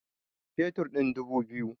Fetur ɗin dubu biyu